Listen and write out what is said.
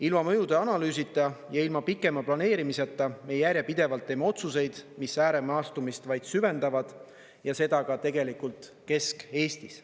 Ilma mõjude analüüsita ja ilma pikema planeerimiseta me järjepidevalt teeme otsuseid, mis ääremaastumist vaid süvendavad ja seda ka tegelikult Kesk-Eestis.